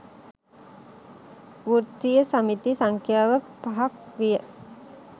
වෘත්තිය සමිති සංඛ්‍යාව පහක් විය.